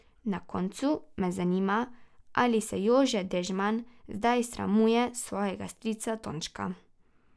Na koncu me zanima, ali se Jože Dežman zdaj sramuje svojega strica Tončka.